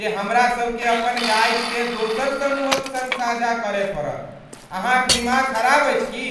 जे हमरा सभकेँ अपन गाइडकेँ दोसर समूहक सङ्ग साझा करय पड़त। अहां क दिमाग ख़राब अछि की ?